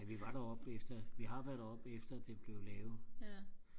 vi var deroppe efter vi har været deroppe efter det blev lavet